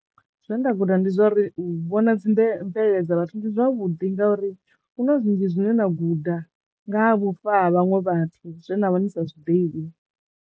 Zwe nda guda ndi zwauri u vhona dzi bve mvelele dza vhathu ndi zwavhuḓi nga uri huna zwinzhi zwine na guda nga ha vhufa ha vhaṅwe vhathu zwe na vha ni sa zwiḓivhi.